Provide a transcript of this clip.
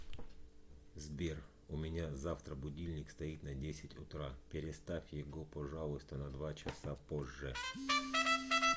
сбер у меня завтра будильник стоит на десять утра переставь его пожалуйста на два часа позже